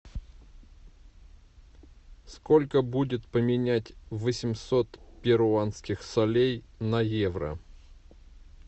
сколько будет поменять восемьсот перуанских солей на евро